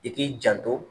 I k'i janto